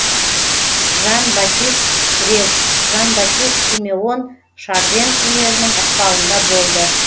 жан батист грез жан батист симеон шарден өнерінің ықпалында болды